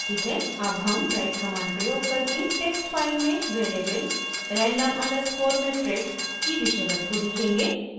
अब हम write command प्रयोग करके टेक्स्ट फाइल में वेरिएबल random underscore matrix की विषय वस्तु लिखेंगे